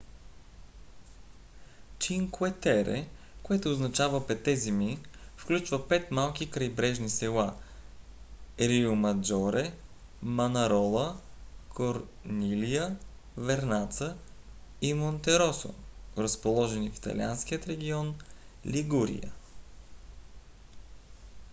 cinque terre което означава петте земи включва пет малки крайбрежни села риомаджоре манарола корнилия вернаца и монтероссо разположени в италианския регион лигурия